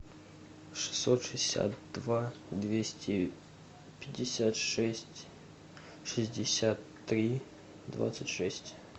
шестьсот шестьдесят два двести пятьдесят шесть шестьдесят три двадцать шесть